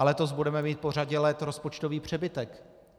A letos budeme mít po řadě let rozpočtový přebytek.